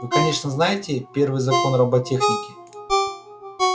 вы конечно знаете первый закон роботехники